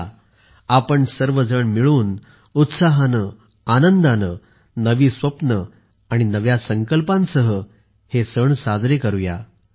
या आपण सर्व मिळून उत्साहाने आनंदाने नवी स्वप्ने आणि नव्या संकल्पासह हे सण साजरे करूया